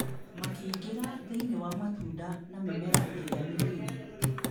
Makĩingĩra thĩinĩ wa matunda na mĩmera ĩrĩa mĩnini.